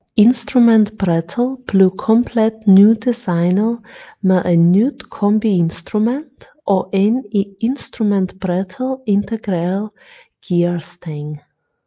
Instrumentbrættet blev komplet nydesignet med et nyt kombiinstrument og en i instrumentbrættet integreret gearstang